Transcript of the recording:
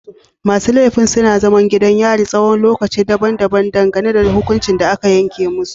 Masu laifin suna zaman gidan yari tsawon lokuta daban-daban dangane da hukuncin da aka yanke musu.